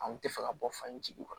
An kun tɛ fɛ ka bɔ fan in jigi kɔrɔ